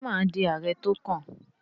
Ṣé mà á di ààrẹ tó kàn?